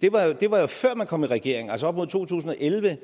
det var jo før man kom i regering altså op mod to tusind og elleve